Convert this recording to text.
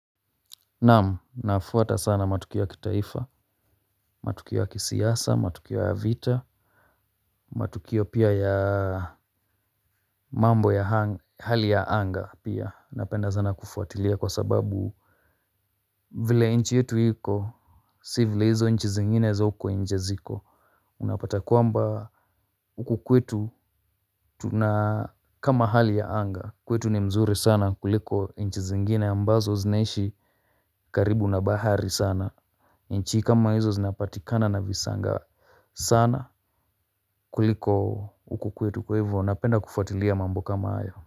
Naam, nafuata sana matukio ya kitaifa, matukio ya kisiasa, matukio ya vita, matukio pia ya mambo ya hali ya anga pia, napenda sana kufuatilia kwa sababu vile nchi yetu iko si vile hizo nchi zingine za huko nje ziko. Unapata kwamba huku kwetu tuna kama hali ya anga, kwetu ni mzuri sana kuliko nchi zingine ambazo zinaishi karibu na bahari sana. Nchi kama hizo zinapatikana na visanga sana kuliko huku kwetu kwa hivyo napenda kufuatilia mambo kama hayo.